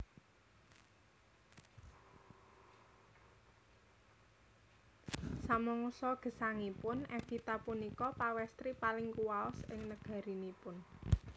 Samangsa gesangipun Evita punika pawèstri paling kuwaos ing nagarinipun